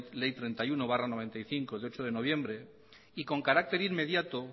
ley treinta y uno barra noventa y cinco de ocho de noviembre de prevención y con carácter inmediato